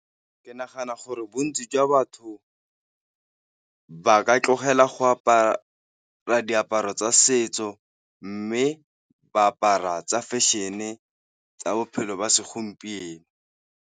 Ke nagana gore bontsi jwa batho ba ka tlogela go apara diaparo tsa setso, mme ba apara tsa fashion-e tsa bophelo ba segompieno.